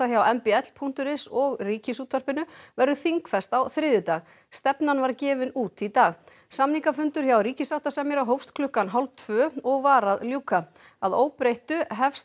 hjá m b l punktur is og Ríkisútvarpinu verður þingfest á þriðjudag stefnan var gefin út í dag samningafundur hjá ríkissáttasemjara hófst klukkan hálf tvö og var að ljúka að óbreyttu hefst